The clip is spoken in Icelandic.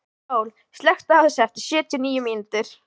Sól, slökktu á þessu eftir sjötíu og níu mínútur.